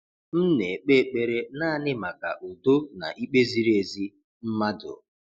M na-ekpe ekpere naanị maka udo na ikpe ziri ezi, mmadụ.